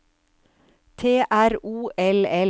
T R O L L